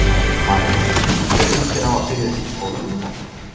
María: Hvernig líst þér á að byrja í skólanum í dag?